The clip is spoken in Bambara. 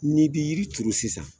Ni bi yiri turu sisan